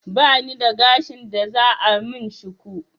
Bani da gashin da za a min shuku